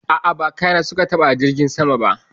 A'a, ba kaya na su ka ɓata a jirgin saman ba